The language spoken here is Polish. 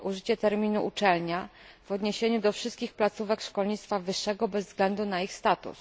użycie terminu uczelnia w odniesieniu do wszystkich placówek szkolnictwa wyższego bez względu na ich status.